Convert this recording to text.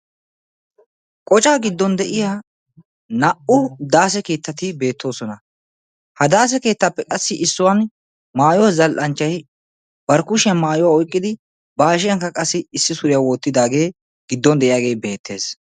Qoccaa giddon de'iyaa naa"u daasse keettati beettoosona. Ha daasse keettappe qassi issuwaan maayyuwa zal"anchchay bari kushiyan maayuwa oykkidi ba hashshiyankka qassi issi suriya wottidaage giddon de'iyagee beettees.